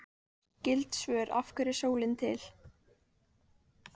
Skyld svör: Af hverju er sólin til?